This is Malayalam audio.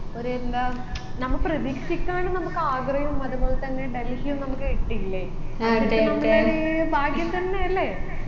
ഒരു എന്താ നമ്മ പ്രതീക്ഷിക്കാണ്ട് നമ്മക്ക് ആഗ്രയും അതുപോലെത്തന്നെ ഡൽഹിയും നമ്മക്ക് കിട്ടിയില്ലേ അതൊക്കെ നമ്മളൊരു ഭാഗ്യം തന്നെയെല്ലേ